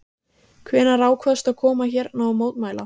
Þórhildur: Hvenær ákvaðstu að koma hérna og mótmæla?